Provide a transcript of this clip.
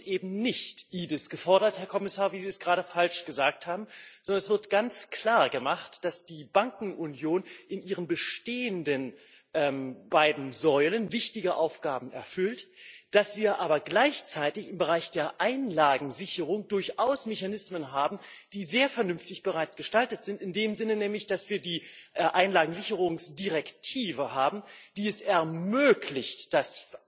Es wird eben nicht EDIS gefordert, Herr Kommissar, wie Sie es gerade falsch gesagt haben, sondern es wird ganz klar gemacht, dass die Bankenunion in ihren bestehenden beiden Säulen wichtige Aufgaben erfüllt, dass wir aber gleichzeitig im Bereich der Einlagensicherung durchaus Mechanismen haben, die bereits sehr vernünftig gestaltet sind, in dem Sinne nämlich, dass wir die Einlagensicherungsrichtlinie haben, die es ermöglicht, dass